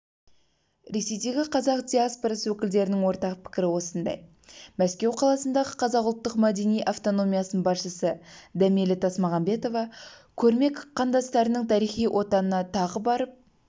ресейдегі қазақ диаспорасы өкілдерінің ортақ пікірі осындай мәскеу қаласындағы қазақ ұлттық-мәдени автономиясының басшысы дәмелі тасмағамбетова көрме қандастарының тарихи отанына тағы барып